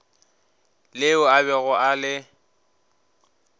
leo a bego a le